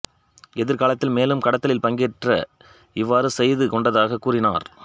எதிர்காலத்தில் மேலும் கடத்தலில் பங்கேற்க இவ்வாறு செய்து கொண்டதாகக் கூறினார்